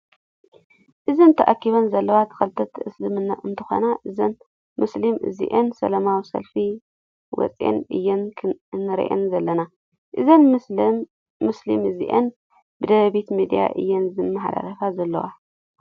እዘን ተኣኪባን ዘለዋ ተከተልቲ እስልምና እንትኮና እዘን መሱሉም እዚኣን ሰለማዊ ሰልፊ ወፅአን እየን እንሪአን ዘለና። እዘን መሱሊም እዚአን ብደደቢት ሚድያ እየን ዝመሓላለፋ ዘለዋ።